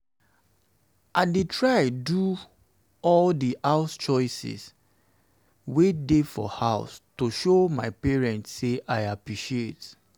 i dey try to do try to do all the house chores wey dey for house to show my parents say i appreciate